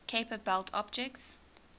kuiper belt objects